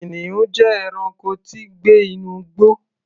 Kìnìún jẹ́ ẹranko tí ń gbé inú igbó.